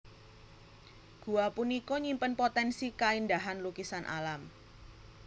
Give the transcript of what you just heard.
Gua punika nyimpen potensi kaéndahan lukisan alam